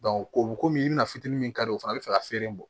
o bɛ komi i bɛna fitini min kari o fana bɛ fɛ ka feere bɔ